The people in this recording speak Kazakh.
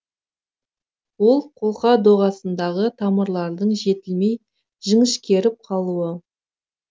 ол қолқа доғасындағы тамырлардың жетілмей жіңішкеріп қалуы